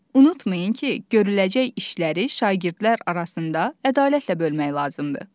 Unutmayın ki, görüləcək işləri şagirdlər arasında ədalətlə bölmək lazımdır.